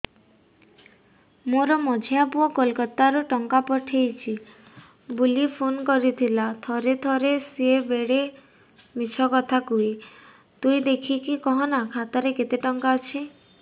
ମୋର ମଝିଆ ପୁଅ କୋଲକତା ରୁ ଟଙ୍କା ପଠେଇଚି ବୁଲି ଫୁନ କରିଥିଲା ଥରେ ଥରେ ସିଏ ବେଡେ ମିଛ କଥା କୁହେ ତୁଇ ଦେଖିକି କହନା ଖାତାରେ କେତ ଟଙ୍କା ଅଛି